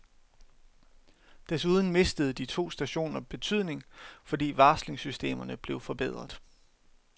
Desuden mistede de to stationer betydning, fordi varslingssystemerne blev forbedret.